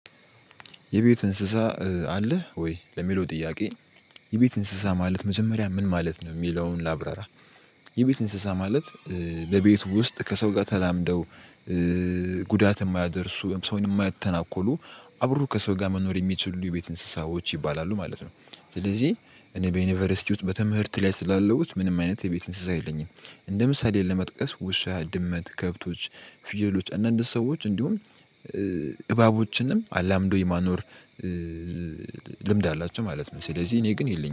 የቤት እንስሳ አለህ ወይ ለሚለው ጥያቄ? የቤት እንስሳ ማለት መጀመሪያ ምን ማለት ነው የሚለውን ላብራራ። የቤት እንስሳ ማለት። ለቤቱ ውስጥ ከሰው ጋር ተላምደው ጉዳት የማያደርሱ ሰውን የማያተናኮሉ አብረው ከሰው ጋር መኖር የሚችሉ የቤት እንስሳዎች ይባላሉ ማለት ነው። ስለዚህ እኔ በዩኒቨርሲቲ ውስጥ በትምህርት ላይ ስላለሁት ምንም አይነት የቤት እንስሳ የለኝም። እንደ ምሳሌ ለመጥቀስ ውሻ ድመት ከብቶች ፊየሎች አንዳንድ ሰዎች እንዲሁም እባቦችንም አላምደው የማኖር። ልምድ አላቸው ማለት ነው። ስለዚህ እኔ ግን የለኝም